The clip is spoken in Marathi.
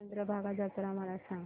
चंद्रभागा जत्रा मला सांग